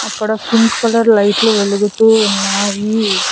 అక్కడ pink colour లైట్లు వెలుగుతూ ఉన్నాయి.